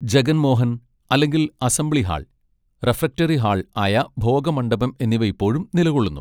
ജഗൻ മോഹൻ, അല്ലെങ്കിൽ assembly hall, refectory hall ആയ ഭോഗ മണ്ഡപം എന്നിവ ഇപ്പോഴും നിലകൊള്ളുന്നു.